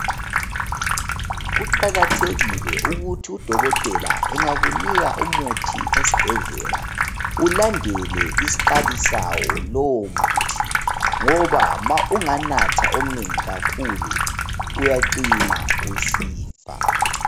Kuqakathekile ukuthi udokotela engakunika umuthi esibhedlela ulandele isikali sawo lowo muthi ngoba ma unganatha omnengi kakhulu uyacina usifa.